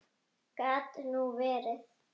Gat nú verið!